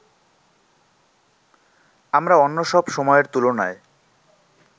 আমরা অন্যসব সময়ের তুলনায়